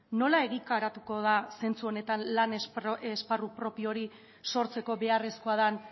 nola egikarituko da zentzu honetan lan esparru propio hori sortzeko beharrezkoa den